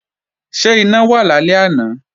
Ṣé iná wà lálẹ́ àná?